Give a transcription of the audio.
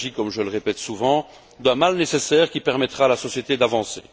Il s'agit, comme je le répète souvent, d'un mal nécessaire qui permettra à la société d'avancer.